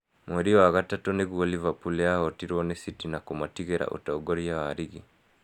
Mweri wa gatatũ nĩguo Liverpool yahootirwo nĩ City na kũmatigĩra ũtongoria wa rigi.